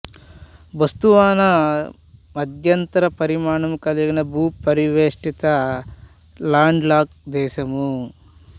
Botswana మధ్యంతర పరిమాణము కలిగిన భూపరివేష్టిత లాండ్ లాక్ దేశము